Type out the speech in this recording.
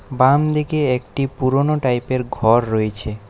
বাম দিকে একটি পুরোনো টাইপের ঘর রইছে।